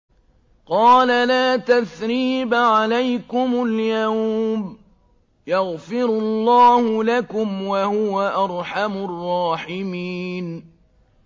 قَالَ لَا تَثْرِيبَ عَلَيْكُمُ الْيَوْمَ ۖ يَغْفِرُ اللَّهُ لَكُمْ ۖ وَهُوَ أَرْحَمُ الرَّاحِمِينَ